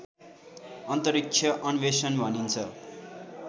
अन्तरिक्ष अन्वेषण भनिन्छ